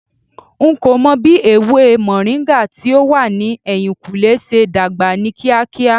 N ko mo bi ewe moringa ti o wa ni ehinkunle se dagba ni kiakia